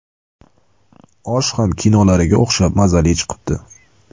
Osh ham kinolariga o‘xshab mazali chiqibdi.